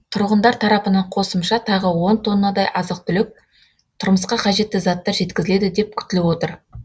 тұрғындар тарапынан қосымша тағы он тоннадай азық түлік тұрмысқа қажетті заттар жеткізіледі деп күтіліп отыр